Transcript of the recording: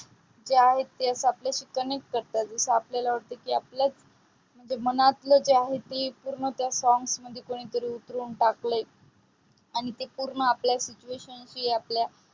जे आहे ते आपल्याशी connect करतात. जसा आपल्याला की आपल्यास मनातल जे आहे ते पूर्ण songs मध्ये कोणीतरी उतरून टाकलाय. आणि ते आहे ते पूर्ण आपल्या situations